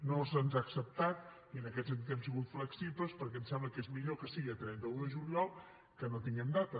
no se’ns ha acceptat i en aquest sentit hem sigut flexibles perquè ens sembla que és millor que sigui el trenta un de juliol que no tenir data